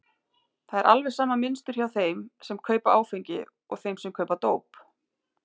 Það er alveg sama mynstur hjá þeim sem kaupa áfengi og þeim sem kaupa dóp.